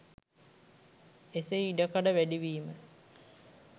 එසේ ඉඩකඩ වැඩිවීම